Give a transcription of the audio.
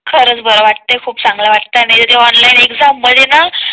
खरंच बरं वाटतं खूप चांगलं वाटतं आहे ऑनलाईन एगझाम मध्ये